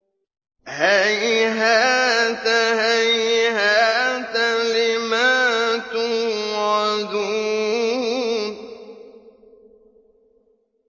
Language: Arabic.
۞ هَيْهَاتَ هَيْهَاتَ لِمَا تُوعَدُونَ